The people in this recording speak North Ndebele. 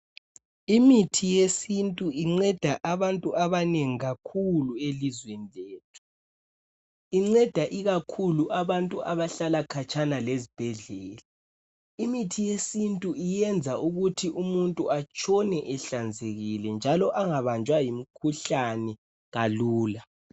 Imithi yesintu inceda abantu abanengi kakhulu elizweni lethu. Inceda ikakhulu abantu abahlala khatshana lezibhedlela. Imithi yesintu iyenza ukuthi umuntu atshone ehlanzekile njalo angabanjwa yimikhuhlane kalula.